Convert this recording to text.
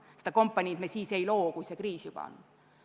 Vajalikku kompaniid me siis ei loo, kui kriis juba tekkinud on.